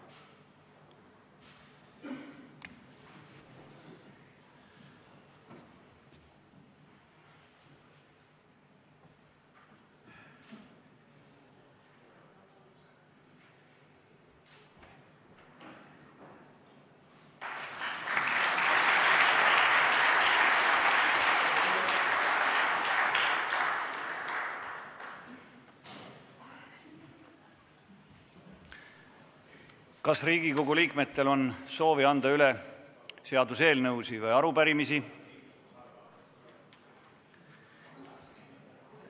Kas Riigikogu liikmetel on soovi anda üle seaduseelnõusid või arupärimisi?